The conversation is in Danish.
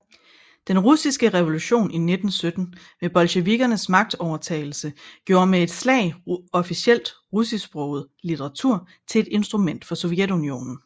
Den russiske revolution i 1917 med bolsjevikernes magtovertagelse gjorde med et slag officiel russisksproget litteratur til et instrument for Sovjetunionen